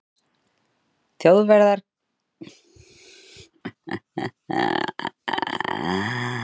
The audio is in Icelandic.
þjóðverjar gerðu innrásir í fleiri lönd